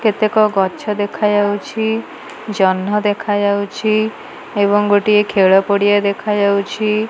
କେତେ ଗଛ ଦେଖା ଯାଉଛି ଜହ୍ନ ଦେଖା ଯାଉଛି ଏବଂ ଗୋଟେ ଖେଲ ପଡିଆ ଦେଖା ଯାଉଛି।